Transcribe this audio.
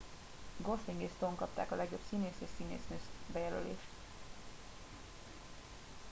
gosling és stone kapták a legjobb színész és színésznő jelölést